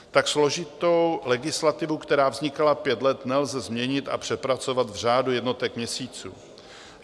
Tak složitou legislativu, která vznikala pět let, nelze změnit a přepracovat v řádu jednotek měsíců.